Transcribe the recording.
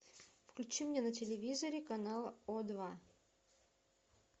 включи мне на телевизоре канал о два